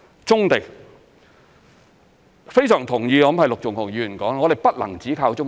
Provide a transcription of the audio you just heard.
棕地方面，我非常同意陸頌雄議員指我們不能只靠棕地。